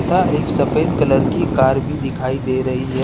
तथा एक सफ़ेद कलर की कार भी दिखाई दे रही है।